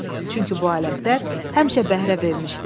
Çünki bu alətlər həmişə bəhrə vermişdi.